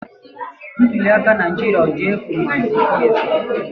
Ntuliaka Naijiria ọ dị efu maa zikwa ezi?